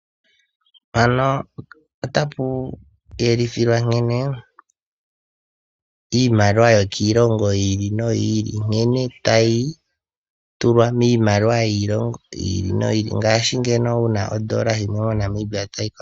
Mpano ota pu yelithilwa nkene iimaliwa yokiilongo yi ili noyi ili nkene tayi tulwa miimaliwa yiilongo yi ili noyi ili ngaashi ngeno wu na oondola yimwe moNamibia toyi fala.